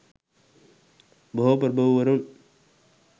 බොහෝ ප්‍රභූවරුන්